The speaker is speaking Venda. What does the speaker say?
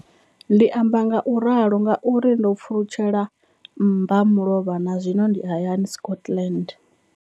Ndi amba ngauralo nga uri ndo pfulutshela mmbamulovha na zwino ndi hayani, Scotland.